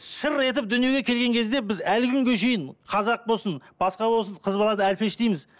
шыр етіп дүниеге келген кезде біз әлі күнге шейін қазақ болсын басқа болсын қыз баланы әлпештейміз